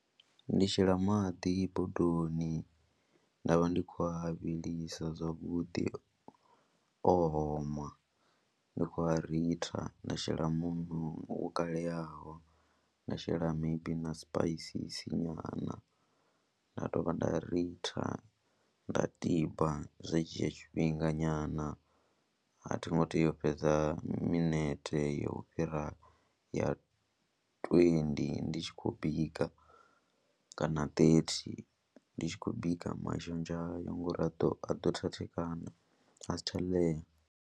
Ndi shela maḓi bodoni nda vha ndi khou a vhilisa zwavhuḓi, o oma ndi khou a ritha nda shela muṋo wo kaleyaho, nda shela maybe na sipaisisi nyana, nda dovha nda ritha nda tiba, zwa dzhia tshifhinga nyana a thingo teya u fhedza minete ya u fhira ya twendi ndi tshi khou bika kana ṱethi ndi tshi khou bika mashonzha hayo ngori a ḓo a ḓo thathekana a si tsha ḽea.